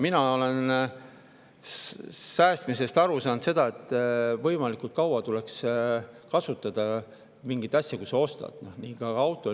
Mina olen aru saanud, et säästmiseks tuleks kasutada mingit asja võimalikult kaua, kui sa selle ostad, nii ka autot.